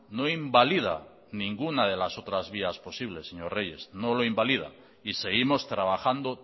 no invalida ninguna de las otras vías posibles señor reyes no lo invalida y seguimos trabajando